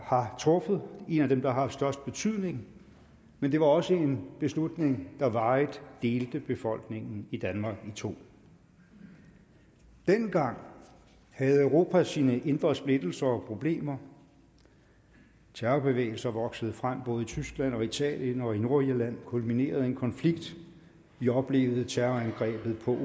har truffet og en af dem der har haft størst betydning men det var også en beslutning der varigt delte befolkningen i danmark i to dengang havde europa sine indre splittelser og problemer terrorbevægelser voksede frem i både tyskland og italien og i nordirland kulminerede en konflikt vi oplevede terrorangrebet ved ol